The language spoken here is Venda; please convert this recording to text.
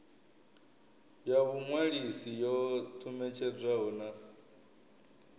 ya vhuṅwalisi yo ṱumetshedzwaho na